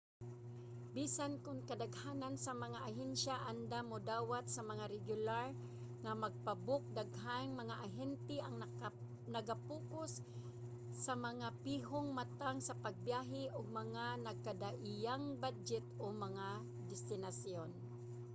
bisan kon kadaghanan sa mga ahensya andam modawat sa mga regular nga pag-book daghang mga ahente ang naga-pokus sa mga pihong matang sa pagbiyahe ug mga nagkadaiyang badyet o mga destinasyon